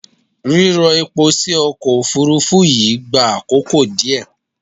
Rírọ epo sí ọkọ̀ Òfurufú yìí gbà àkókò díẹ̀.